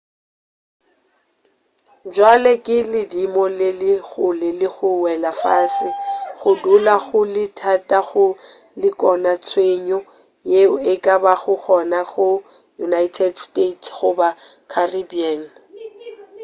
bjale ka ge ledimo le le kgole le go wela fase go dula go le thata go lekola tshenyo ye e ka bago gona go united states goba caribbean